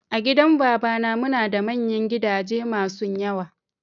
A gidan babana muna da manyan gidaje masun yawa.